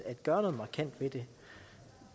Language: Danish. at gøre noget markant ved det